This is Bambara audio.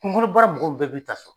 Kungolo baara mɔgɔw bɛɛ b'i ta so.